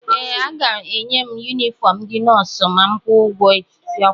ee, aga-enye m yunifọm ndị nọọsụ ma m kwụọ ụgwọ akwụkwọ m